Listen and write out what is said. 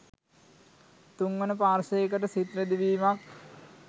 තුන්වන පාර්ශවයකට සිත් රිදවීමක්